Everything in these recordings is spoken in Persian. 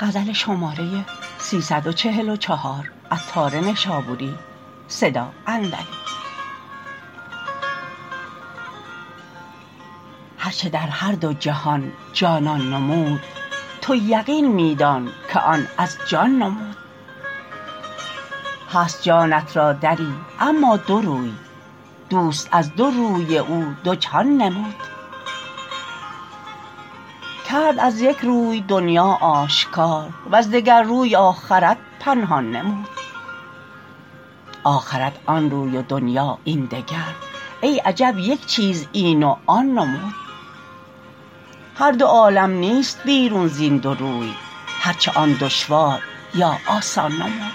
هرچه در هر دو جهان جانان نمود تو یقین می دان که آن از جان نمود هست جانت را دری اما دو روی دوست از دو روی او دو جهان نمود کرد از یک روی دنیا آشکار وز دگر روی آخرت پنهان نمود آخرت آن روی و دنیا این دگر ای عجب یک چیز این و آن نمود هر دو عالم نیست بیرون زین دو روی هرچه آن دشوار یا آسان نمود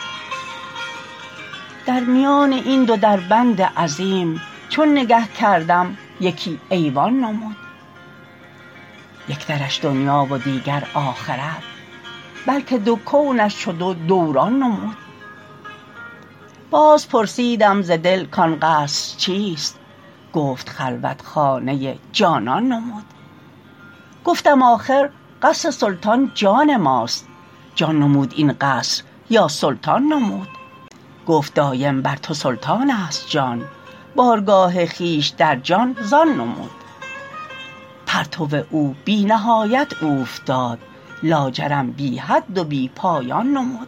در میان این دو دربند عظیم چون نگه کردم یکی ایوان نمود یک درش دنیا و دیگر آخرت بلکه دو کونش چو دو دوران نمود باز پرسیدم ز دل کان قصر چیست گفت خلوت خانه جانان نمود گفتم آخر قصر سلطان جان ماست جان نمود این قصر یا سلطان نمود گفت دایم بر تو سلطان است جان بارگاه خویش در جان زان نمود پرتو او بی نهایت اوفتاد لاجرم بی حد و بی پایان نمود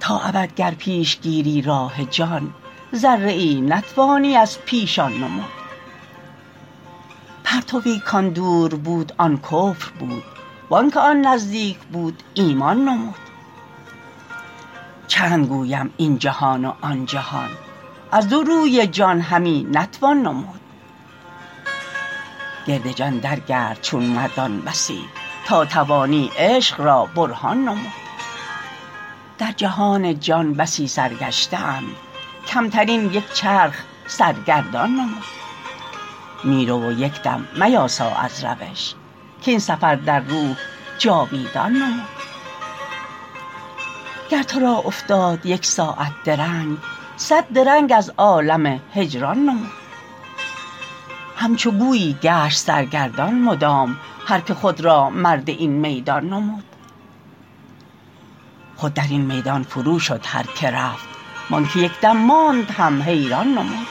تا ابد گر پیش گیری راه جان ذره ای نتوانی از پیشان نمود پرتوی کان دور بود آن کفر بود وانکه آن نزدیک بود ایمان نمود چند گویم این جهان و آن جهان از دو روی جان همی نتوان نمود گرد جان در گرد چون مردان بسی تا توانی عشق را برهان نمود در جهان جان بسی سرگشته اند کمترین یک چرخ سرگردان نمود می رو و یک دم میاسا از روش کاین سفر در روح جاویدان نمود گر تورا افتاد یک ساعت درنگ صد درنگ از عالم هجران نمود همچو گویی گشت سرگردان مدام هر که خود را مرد این میدان نمود خود در این میدان فرو شد هر که رفت وانکه یک دم ماند هم حیران نمود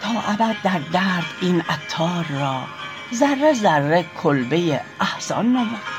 تا ابد در درد این عطار را ذره ذره کلبه احزان نمود